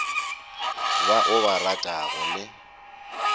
ba o ba ratago le